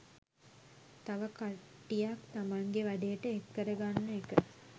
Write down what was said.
තව කට්ටියක් තමන්ගෙ වැඩේට එක් කරගන්න එක